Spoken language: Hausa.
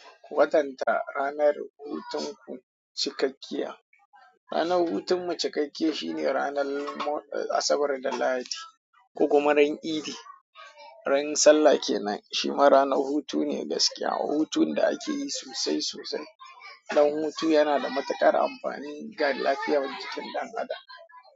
Watan ta ranar hutun ku cikakkiya. Ranar hutun mu cikakkiya shine ranar Asabar da Lahadi ko kuma ran idi. Ran sallah kenan shi ma ranar hutu ne gaskiya. Hutun da akeyi sosai sosai. Dan hutu yana da matukar amfani ga lafiyar mutum dan adam.